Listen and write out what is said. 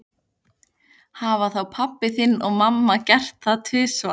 Hafa þá pabbi þinn og mamma gert það tvisvar?